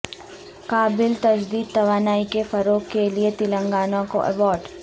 قابل تجدید توانائی کے فروغ کے لئے تلنگانہ کو ایوارڈ